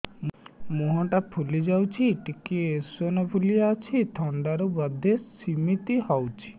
ମୁହଁ ଟା ଫୁଲି ଯାଉଛି ଟିକେ ଏଓସିନୋଫିଲିଆ ଅଛି ଥଣ୍ଡା ରୁ ବଧେ ସିମିତି ହଉଚି